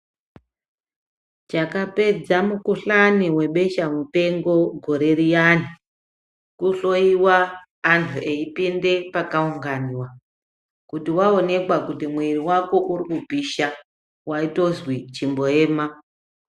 Chakapedza mukuhlani webesha mupengo gore riyani kuhloiwa antu eipindwa pakaunganwa kuti waonekwa kuti mwiri wako uri kupisha waitonzi chimboema.